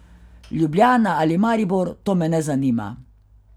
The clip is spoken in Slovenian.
Ljubljana ali Maribor, to me ne zanima.